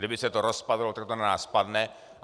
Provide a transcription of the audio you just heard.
Kdyby se to rozpadlo, tak to na nás spadne.